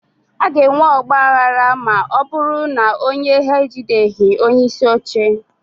a ga-enwe ọgba aghara ma ọ bụrụ na onye ha ejideghị onyeisi oche